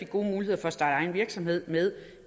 gode muligheder for at starte egen virksomhed med